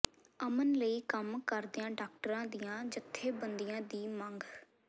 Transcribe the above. ਅਮਨ ਲਈ ਕੰਮ ਕਰਦੀਆਂ ਡਾਕਟਰਾਂ ਦੀਆਂ ਜੱਥੇਬੰਦੀਆਂ ਦੀ ਮੰਗ